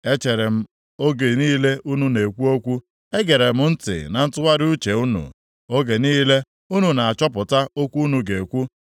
Echeere m oge niile unu na-ekwu okwu, egere m ntị na ntụgharị uche unu, oge niile unu na-achọpụta okwu unu ga-ekwu.